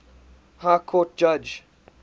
high court judge